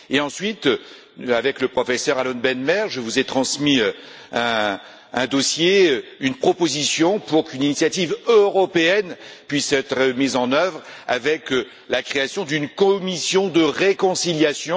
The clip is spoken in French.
Ensuite, avec le professeur Alon Ben Meir, je vous ai transmis un dossier, une proposition, pour qu'une initiative européenne puisse être mise en œuvre, avec la création d'une commission de réconciliation.